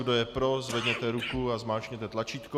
Kdo je pro, zvedněte ruku a zmáčkněte tlačítko.